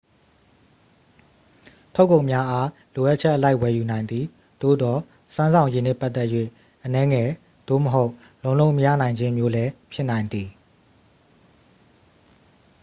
ထုတ်ကုန်များအား လိုအပ်ချက်အလိုက် ဝယ်ယူနိုင်သည် သို့သော် စွမ်းဆောင်ရည်နှင့်ပတ်သက်၍ အနည်းငယ်သို့မဟုတ် လုံးလုံးမရနိုင်ခြင်းမျိုးလည်း ဖြစ်နိုင်သည်